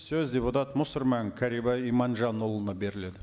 сөз депутат мұсырман кәрібай иманжанұлына беріледі